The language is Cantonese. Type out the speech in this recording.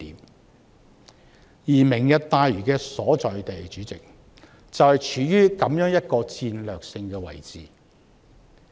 代理主席，"明日大嶼願景"的所在地，就是處於如此的戰略性位置。